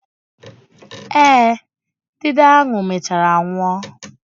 Eh, idide ahụ mechaara nwụọ.